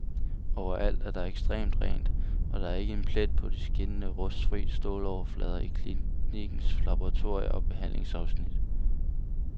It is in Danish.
Overalt er der ekstremt rent, og der er ikke en plet på de skinnende rustfri ståloverflader i klinikkens laboratorier og behandlingsafsnit.